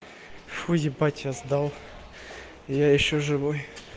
фу ебать сейчас сдал я ещё живой